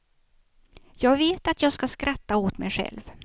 Jag vet att jag ska skratta åt mig själv.